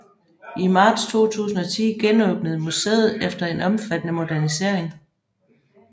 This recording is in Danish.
I marts 2010 genåbnede museet efter en omfattende modernisering